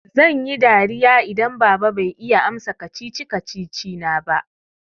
Zan yi dariya idan baba bai iya amsa kacici-kacici na ba.